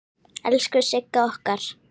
Elsku Sigga okkar!